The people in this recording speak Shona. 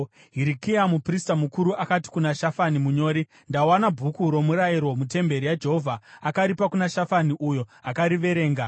Hirikia muprista mukuru akati kuna Shafani munyori, “Ndawana Bhuku roMurayiro mutemberi yaJehovha.” Akaripa kuna Shafani, uyo akariverenga.